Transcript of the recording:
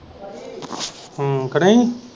ਹਮ ਕੇ ਨਹੀਂ।